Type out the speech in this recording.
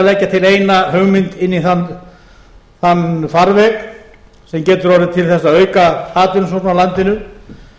leggja til eina hugmynd inn í þann farveg sem getur orðið til þess að auka atvinnusókn á landinu